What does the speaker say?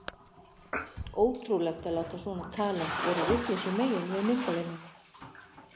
Ótrúlegt að láta svona talent vera vitlausu megin við myndavélina!